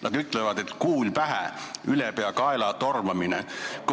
Nad ütlevad, et kuul pähe, see on ülepeakaela tormamine.